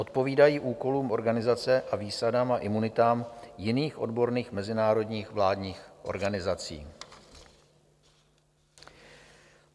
Odpovídají úkolům organizace a výsadám a imunitám jiných odborných mezinárodních vládních organizací.